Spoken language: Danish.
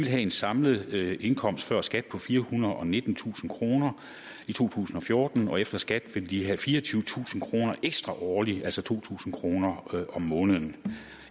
have en samlet indkomst før skat på firehundrede og nittentusind kroner i to tusind og fjorten og efter skat vil de have fireogtyvetusind kroner ekstra årligt altså to tusind kroner om måneden